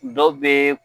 Dɔ bɛ